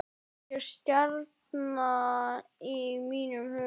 Algjör stjarna í mínum huga.